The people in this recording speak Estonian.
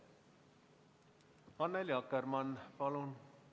Annely Akkermann, palun!